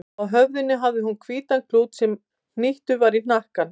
Á höfði hafði hún hvítan klút sem hnýttur var í hnakkanum.